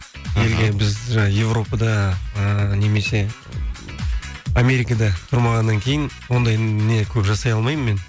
елге біз жаңа европада ы немесе америкада тұрмағаннан кейін ондай не көп жасай алмаймын мен